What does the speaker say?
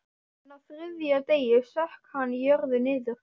En á þriðja degi sökk hann í jörðu niður.